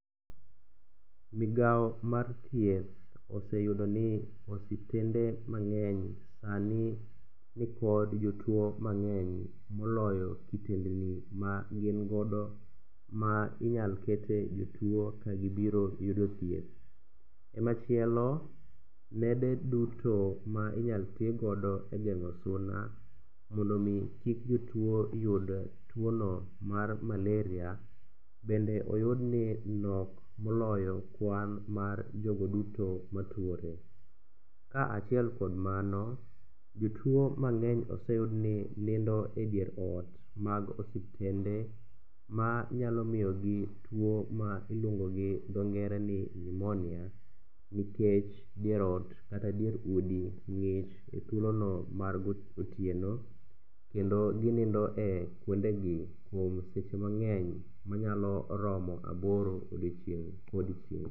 Migao mar thieth oseyudo ni osiptende mang'eny sani nikod jotuo mang'eny moloyo kitendni magin godo ma inyal kete jotuo kagibiro yudo thieth. E machielo, nede duto ma inyal tigodo e geng'o suna mondo omi kik jotuo yud tuono mar malaria, bende oyudni nok moloyo kwan mar jogo duto matuore. Ka achiel kod mano, jotuo mang'eny oseyud ni nindo e dier ot mag osiptende ma nyalo miyogi tuo ma iluongo gi dho ngere ni pneumonia nikech dier ot kata dier udi ng'ich e thuolono mar otieno kendo ginindo e kuondegi kuom seche mang'eny manyalo romo aboro odiechieng' kodiechieng'.